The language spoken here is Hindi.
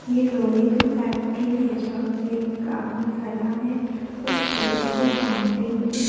ये लोहे की फैक्ट्री है जहाँ पे एक आदमी खड़ा है उस पिलर को काउंटिंग --